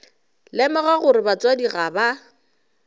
lemoga gore batswadi ga ba